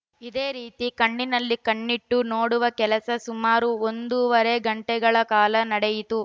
ಇದೇ ರೀತಿ ಕಣ್ಣಲ್ಲಿ ಕಣ್ಣಿಟ್ಟು ನೋಡುವ ಕೆಲಸ ಸುಮಾರು ಒಂದೂವರೆ ಗಂಟೆಗಳ ಕಾಲ ನಡೆಯಿತು